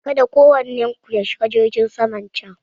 Kada kowannen ku ya shiga jirgin saman can!